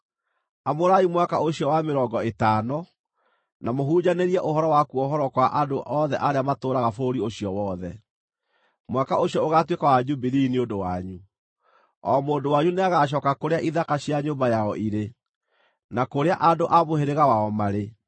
Amũrai mwaka ũcio wa mĩrongo ĩtano, na mũhunjanĩrie ũhoro wa kũohorwo kwa andũ othe arĩa matũũraga bũrũri ũcio wothe. Mwaka ũcio ũgaatuĩka wa Jubilii nĩ ũndũ wanyu; o mũndũ wanyu nĩagacooka kũrĩa ithaka cia nyũmba yao irĩ, na kũrĩa andũ a mũhĩrĩga wao marĩ.